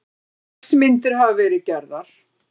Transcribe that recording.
Sex myndir hafa verið gerðar